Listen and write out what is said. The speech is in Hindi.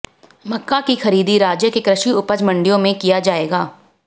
मक्का की खरीदी राज्य के कृषि उपज मंडियों में किया जाएगा